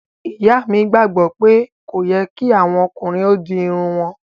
Ìyà mi gbagbo pé kò yẹ̀ kí àwọn ọ̀kùnrin o dì irùn wọn.